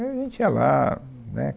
Aí a gente ia lá, né?